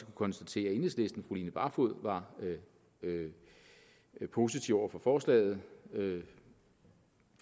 konstatere at enhedslistens fru line barfod var positiv over for forslaget